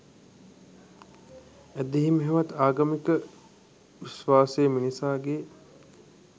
ඇදහීම හෙවත් ආගමික විශ්වාසය මිනිසාගේ